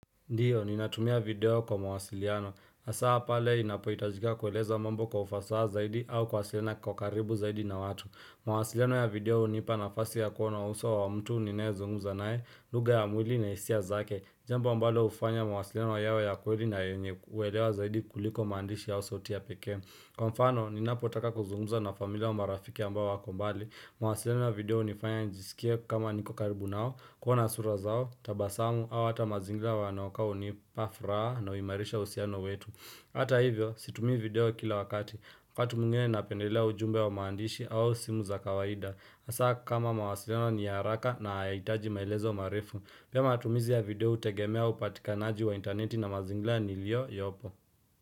Ndiyo, ninatumia video kwa mwasiliano, hasaa pale inapo itajika kueleza mambo kwa ufasaa zaidi au kuwasiliana kwa karibu zaidi na watu mawasiliano ya video unipa nafasi ya kuona uso wa mtu ninae zungumza nae, lugha ya mwili na hisia zake Jambo ambalo ufanya mawasiliano yawe ya kweli na yenye uelewa zaidi kuliko maandishi au sauti ya peke Kwa mfano, ninapotaka kuzungumza na familia au marafiki ambao wakombali mawasiliano na video unifanya njisikie kama niko karibu nao, kuona sura zao, tabasamu, au hata mazingira wanaokaa unipa furaha na uimarisha uhusiano wetu. Hata hivyo, situmii video kila wakati. Wakati mwingene napendelea ujumbe wa maandishi au simu za kawaida. Asa kama mawasiliano ni haraka na haitaji maelezo marefu. Pia matumizi ya video utegemea upatikanaji wa interneti na mazingira nilio yopo.